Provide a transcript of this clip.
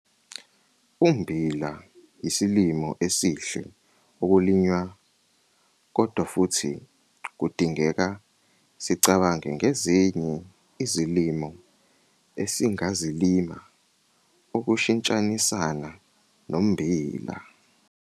Ummbila yisilimo esihle okulinywa kodwa futhi kudingeka sicabange ngezinye izilimo esingazilima ukushintshisana nommbila.